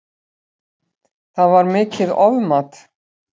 Það var mikið ofmat